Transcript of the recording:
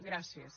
gràcies